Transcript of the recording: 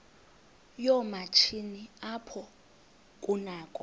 yoomatshini apho kunakho